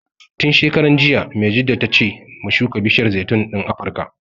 Tun shekaran jiya Maijjida ta ce mu shuka bishiyar zaitun ɗin Afrika